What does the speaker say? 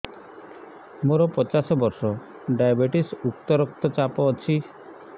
ମୋର ପଚାଶ ବର୍ଷ ଡାଏବେଟିସ ଉଚ୍ଚ ରକ୍ତ ଚାପ ଅଛି